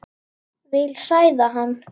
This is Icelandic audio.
Vil hræða hann.